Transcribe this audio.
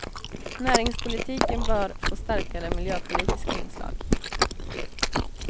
Näringspolitiken bör få starkare miljöpolitiska inslag.